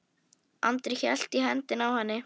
Andri hélt í hendina á henni.